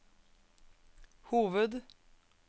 hoved